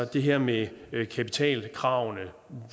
det her med kapitalkravene